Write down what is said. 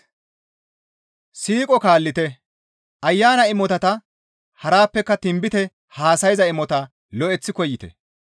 Siiqo kaallite; ayana imotata harappeka tinbite haasayza imotata lo7eththi koyite.